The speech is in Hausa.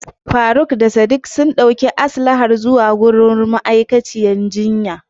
Faruk da Sadik sun ɗauki Aslahan zuwa wajen ma'aikaciyar jinyar.